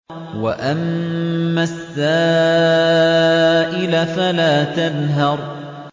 وَأَمَّا السَّائِلَ فَلَا تَنْهَرْ